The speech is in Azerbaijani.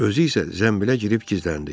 Özü isə zənbilə girib gizləndi.